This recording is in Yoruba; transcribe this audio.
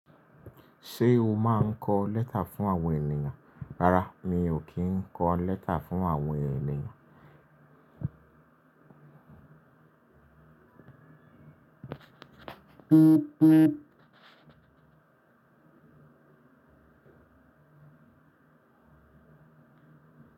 Ṣé o máa ń kọ lẹ́tà fún àwọn ènìyàn? Rárá mi ò kí ń kọ lẹ́tà fún àwọn ènìyàn.